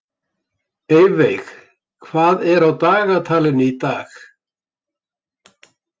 Eyveig, hvað er á dagatalinu í dag?